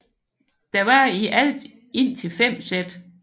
Der var i alt indtil fem sæt